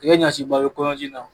I bɛ